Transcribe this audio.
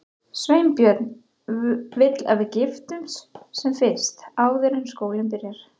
Sveinbjörn vill að við giftumst sem fyrst, áður en skólinn byrjar.